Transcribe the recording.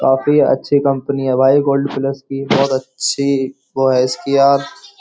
काफी अच्छी कंपनी है भाई गोल्ड फ्लेश की बहुत अच्छी वो एस.के.आर. --